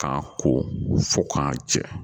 K'a ko fo k'a jɛ